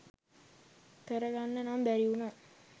කර ගන්න නම් බැරි වුනා